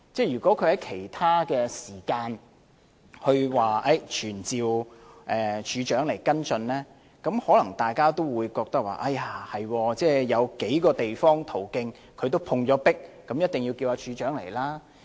如果他在其他時間提出要求傳召懲教署署長來跟進，大家可能會覺得，他因為在數個途徑也碰壁，所以一定要傳召懲教署署長。